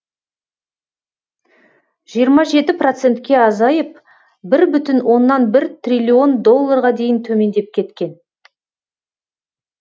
жиырма жеті процентке азайып бір бүтін оннан бір триллион долларға дейін төмендеп кеткен